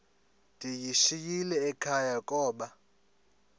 ndiyishiyile ekhaya koba